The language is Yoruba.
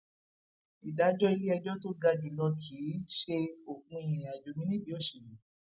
ìdájọ iléẹjọ tó ga jù lọ kì í ṣe òpin ìrìnàjò mi nídìí òṣèlú